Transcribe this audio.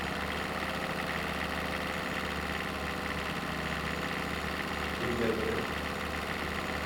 судья дредд